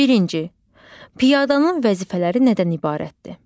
Birinci, piyadanın vəzifələri nədən ibarətdir?